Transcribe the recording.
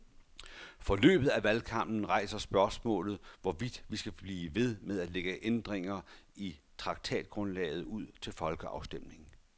Forløbet af valgkampen rejser spørgsmålet, hvorvidt vi skal blive ved med at lægge ændringer i traktatgrundlaget ud til folkeafstemning.